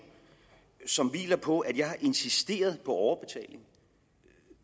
som hviler på at jeg har insisteret på overbetaling